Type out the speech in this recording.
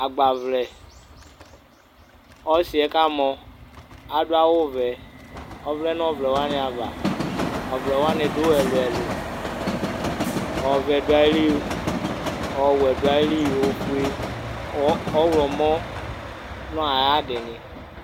Agba vlɛ, ɔsi'ɛ 'ka mɔ adu awu vɛ, ɔvlɛ n'ɔvlɛ wanɩ ava Ɔvlɛ wani du ɛlu ɛlu, ɔvɛ du ayi lɩ, ɔwuɛ du ayi lɩ ofue, ɔwlɔmɔ nu ayadini